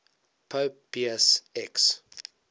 pope pius x